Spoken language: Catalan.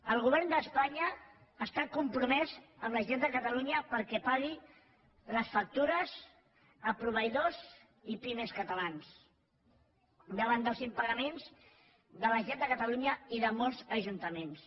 el govern d’espanya està compromès amb la generalitat de catalunya perquè pagui les factures a proveïdors i pimes catalans davant dels impagaments de la generalitat de catalunya i de molts ajuntaments